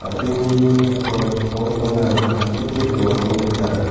a·brini kosako bol pangrang tangseke dongako nika.